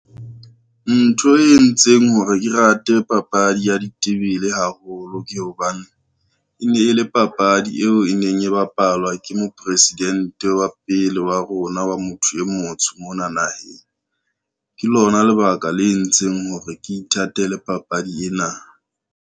Ntho e entseng hore ke rate papadi ya ditebele haholo ke hobane, e ne e le papadi eo e neng e bapalwa ke Mopresidente wa pele wa rona wa motho e motsho mona naheng. Ke lona lebaka le entseng hore ke ithatele papadi ena.